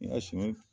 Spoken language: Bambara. N ka suman